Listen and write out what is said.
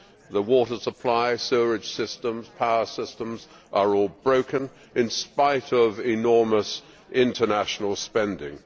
The water supply, sewerage systems, power systems are all broken in spite of enormous international spending.